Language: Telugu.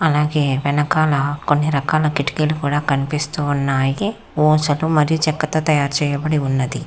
అలాగే వెనకాల కొన్ని రకాల కిటికీలు కూడా కనిపిస్తూ ఉన్నాయి మరియు చెక్కతో తయారు చేయబడి ఉన్నది.